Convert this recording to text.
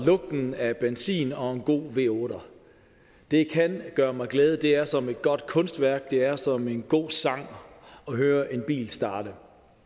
lugten af benzin og en god v8er det kan gøre mig glad det er som et godt kunstværk det er som en god sang at høre en bil starte